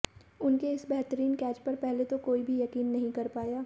उनके इस बेहतरीन कैच पर पहले तो कोई भी यकीन नहीं कर पाया